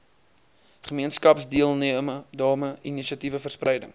gemeenskapsdeelname inisiatiewe verspreiding